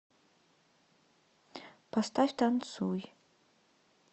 поставь танцуй